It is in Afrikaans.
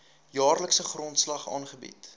jaarlikse grondslag aangebied